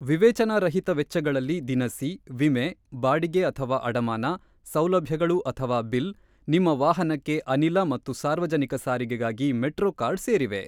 ವಿವೇಚನಾರಹಿತ ವೆಚ್ಚಗಳಲ್ಲಿ ದಿನಸಿ, ವಿಮೆ, ಬಾಡಿಗೆ/ಅಡಮಾನ, ಸೌಲಭ್ಯಗಳು/ಬಿಲ್, ನಿಮ್ಮ ವಾಹನಕ್ಕೆ ಅನಿಲ ಮತ್ತು ಸಾರ್ವಜನಿಕ ಸಾರಿಗೆಗಾಗಿ ಮೆಟ್ರೋ ಕಾರ್ಡ್ ಸೇರಿವೆ.